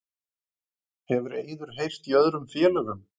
Hefur Eiður heyrt í öðrum félögum?